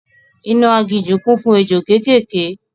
Inú agijù kún fún ejò kékèké